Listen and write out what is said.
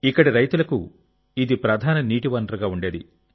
ఇక్కడి రైతులకు ఇది ప్రధాన నీటి వనరుగా ఉండేది